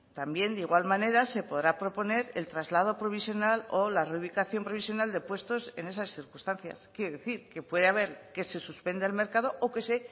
también de igual manera se podrá proponer el traslado provisional o la reubicación provisional de puestos en esas circunstancias quiero decir que puede haber que se suspenda el mercado o que se